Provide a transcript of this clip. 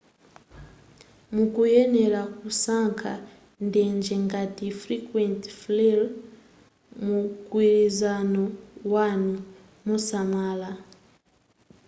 mukuyenera kusankha ndege ngati frequent flyer mumgwirizano wanu mosamala